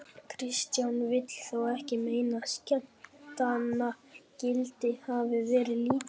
Kristján vill þó ekki meina að skemmtanagildið hafið verið lítið þá.